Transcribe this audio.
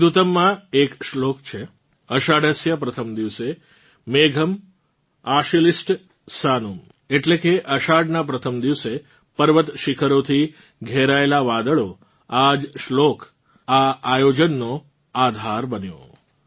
મેઘદૂતમમાં એક શ્લોક છે આષાઢસ્ય પ્રથમ દિવસે મેઘમ્ આશ્લિષ્ટ સાનુમ્ એટલે કે અષાઢનાં પ્રથમ દિવસે પર્વત શીખરોથી ઘેરાયેલાં વાદળો આ જ શ્લોક આ આયોજનોનો આધાર બન્યો